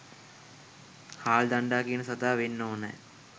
හාල් දණ්ඩා කියන සතා වෙන්න ඕනෙ